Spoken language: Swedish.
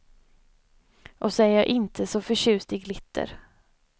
Och så är jag inte så förtjust i glitter.